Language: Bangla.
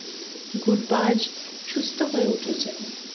গুরবাজ সুস্থ হয়ে উঠেছেন